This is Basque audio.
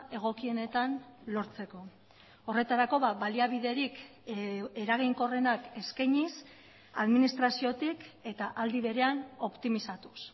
egokienetan lortzeko horretarako baliabiderik eraginkorrenak eskainiz administraziotik eta aldi berean optimizatuz